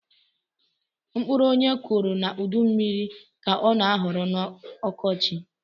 Mkpụrụ onye kuru na udu mmiri ka ọ na aghọrọ na ọkọchi